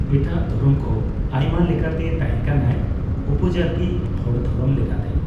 ᱮᱴᱟᱜ ᱫᱷᱚᱨᱚᱢ ᱠᱚ ᱟᱭᱢᱟᱞᱮᱠᱟᱛᱮ ᱛᱟᱦᱮᱸᱠᱟᱱᱟᱭ ᱩᱯᱡᱟᱹᱛᱤ ᱦᱚᱲ ᱫᱷᱚᱨᱚᱢ ᱞᱮᱠᱟᱛᱮ᱾